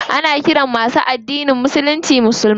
Ana ƙiran masu addinin musulunci musulmai.